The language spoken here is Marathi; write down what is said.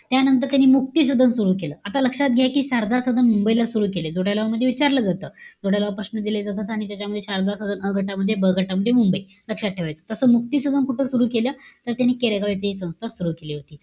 त्यानंतर त्यांनी मुक्ती सदन सुरु केलं. आता लक्षात घ्या कि, शारदा सदन मुंबईला सुरु केलं. जोड्या लावा मध्ये विचारलं जातं. जोड्या लावा प्रश्न दिले जातात. आणि त्याच्यामध्ये शारदा सदन अ गटामध्ये, ब गटामध्ये मुंबई. लक्षात ठेवायचं. तसं, मुक्ती सदन कुठे सुरु केलं? त त्यांनी केडगाव येथे हि संस्था सुरु केली होती.